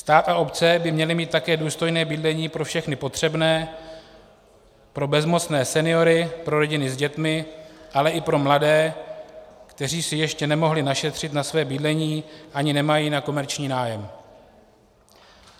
Stát a obce by měly mít také důstojné bydlení pro všechny potřebné, pro bezmocné seniory, pro rodiny s dětmi, ale i pro mladé, kteří si ještě nemohli našetřit na svoje bydlení ani nemají na komerční nájem.